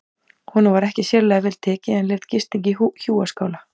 Honum var ekki sérlega vel tekið en leyfð gisting í hjúaskála.